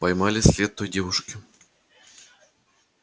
поймали след той девушки